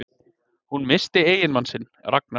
Hún missti eiginmann sinn, Ragnar